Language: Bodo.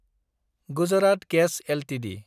Gujarat gas Ltd